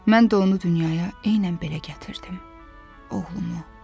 Mən də onu dünyaya eynən belə gətirdim, oğlumu.